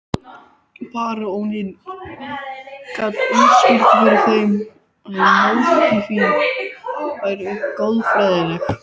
Baróninn gat útskýrt fyrir þeim að mótífin væru goðfræðileg.